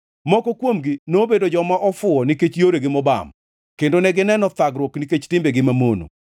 Moko kuomgi nobedo joma ofuwo nikech yoregi mobam kendo negineno thagruok nikech timbegi mamono.